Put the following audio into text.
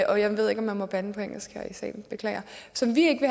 jeg ved ikke om man må bande på engelsk her i salen beklager som vi ikke